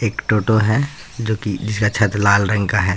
एक टोटो है जोकि जिसका छत रंग का लाल है।